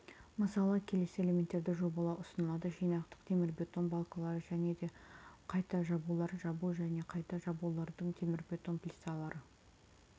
мысалы келесі элементтерді жобалау ұсынылады жинақтық темірбетон балкалары және де қайта жабулар жабу және қайта жабулардың темірбетон плиталары